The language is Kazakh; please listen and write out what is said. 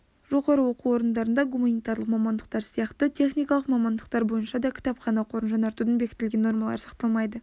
жоғары оқу орындарында гуманитарлық мамандықтар сияқты техникалық мамандықтар бойынша да кітапхана қорын жаңартудың бекітілген нормалары сақталмайды